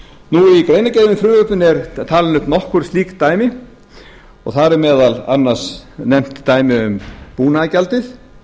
í greinargerðinni með frumvarpinu eru talin upp nokkur slík dæmi og þar er meðal annars nefnt dæmi um búnaðargjaldið